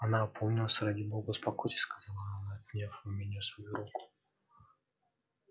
она опомнилась ради бога успокойтесь сказала она отняв у меня свою руку